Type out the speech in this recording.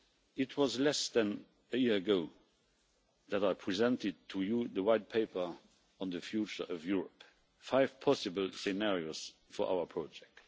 It was less than a year ago that I presented to you the White Paper on the future of Europe five possible scenarios for our project.